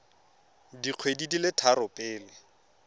dikgwedi di le tharo pele